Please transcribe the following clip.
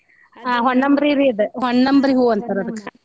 ಹಾ ಹೊನ್ನಂಬ್ರಿ ರೀ ಅದ ಹೊನ್ನಂಬ್ರಿ ಹೂ ಅಂತರ ಅದಕ್ಕ.